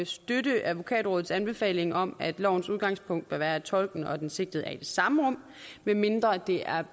støtte advokatrådets anbefaling om at lovens udgangspunkt bør være at tolken og den sigtede er i det samme rum medmindre det er